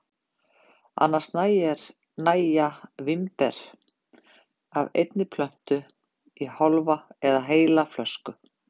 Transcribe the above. Annars nægja vínber af einni plöntu í hálfa eða heila flösku.